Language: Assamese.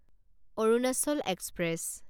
অৰুণাচল এক্সপ্ৰেছ